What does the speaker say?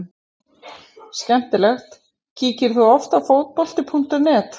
Skemmtileg Kíkir þú oft á Fótbolti.net?